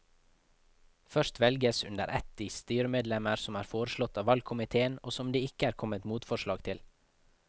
Først velges under ett de styremedlemmer som er foreslått av valgkomiteen og som det ikke er kommet motforslag til.